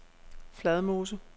Fladmose